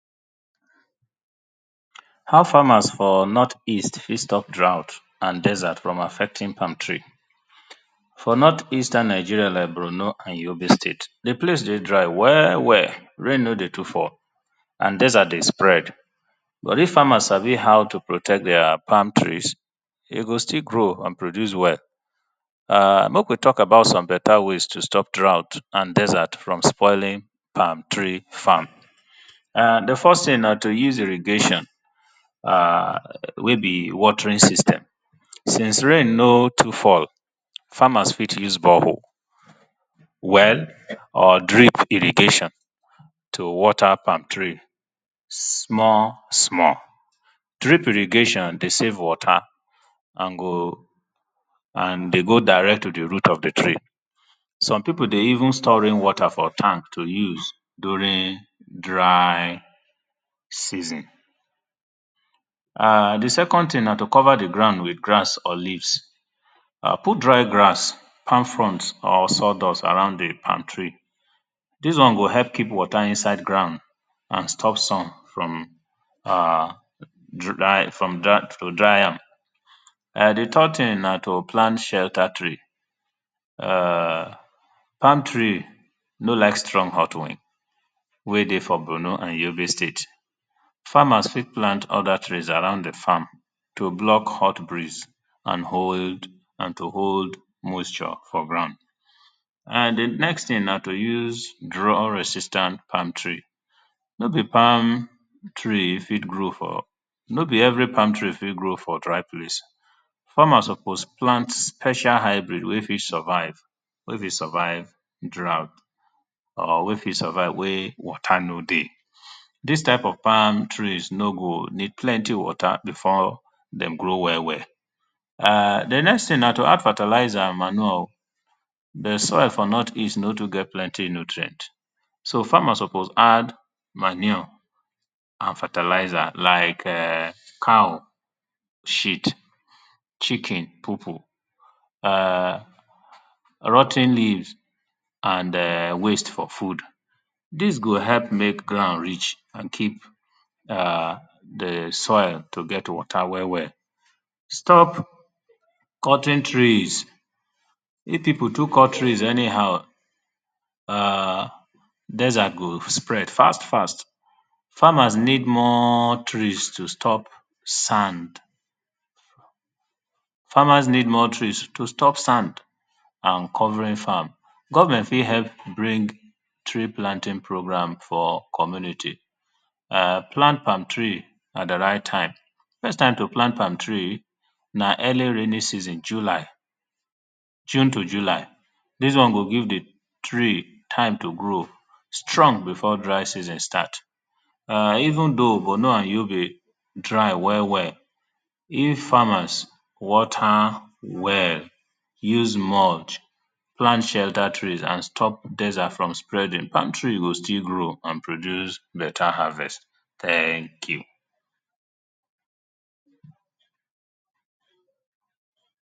How famers for north east fit stop draught and desert from affecting palm tree. For north eastern Nigerian like Bornu an d Yobe state di place dey dry well well, rain no dey too fall and desert dey spread but if farmers sabi how to protect their palm trees e go still grow and produce well. Make we talk about some better ways of st oping draught and desert from spoiling farm. Di first thing na to use irrigation wey be watering system since rain no too fall, farmers fit use borehole, well or drip irrigation to water palm tree small small, drip irrigation dey save water, and go and dey go direct to di root of di tree, some people dey even store rain water for tank to use during dry season. Di second thing na to cover di ground with grass or leave, put dry grass, palm frond or sawdust around di palm tree dis one go help keep water for ground and stop sun from, to, to dry am. Di third thing na to plant shelter tree, palm tree no like strong hot wind wey dey for Bornu an d Yobe state, farmers fit plant other trees around the farm to block hot breeze and hold, and to hold moisture for ground and di next thing na to use draw resistant palm tree, no be palm tree fit grow for, no be every palm tree fi t grow for draw place, farmer suppose plant special hybrid wey be survive wey fit survive draught or wey fit survive wey water no dey, dis type of palm trees no go need plenty water before dem grow well well, di next thing na to add fertilizer and manure, di soil for north east no too get plenty nutrient, so farmer suppose add add fertilizer and manure, like cow shit, chicken popo, rot ten leaves and waste for food, dis go help make ground rich and keep di soil to get water well well. Stop cutting trees if people too cut trees anyhow [urn] desert go spread fast fast, farmers need more tress to stop sand. Farmers need more trees to stop and covering farm. Government fit help bring tree planting program for community and plant palm tree at di right time, di best time to plant palm tree na early raining season, july, june to july dis one go give di tree time to grow strong before dry season start. Even though Bornu an Yobe dry well well, if farmers water well, use mod, plant shelter tress and stop desert from spreading, palm tree go still grow and produce better harvest, thank you.